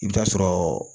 I bɛ taa sɔrɔɔ